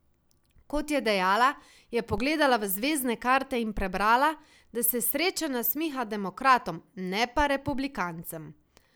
Kot je dejala, je pogledala v zvezdne karte in prebrala, da se sreča nasmiha demokratom, ne pa republikancem.